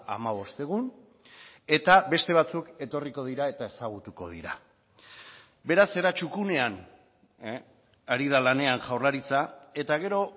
hamabost egun eta beste batzuk etorriko dira eta ezagutuko dira beraz era txukunean ari da lanean jaurlaritza eta gero